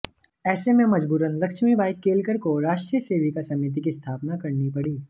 ऐसे में मजबूरन लक्ष्मीबाई केलकर को राष्ट्रीय सेविका समिति की स्थापना करनी पड़ी